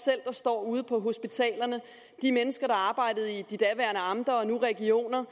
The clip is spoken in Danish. selv står ude på hospitalerne og de mennesker der arbejdede i de daværende amter nu regioner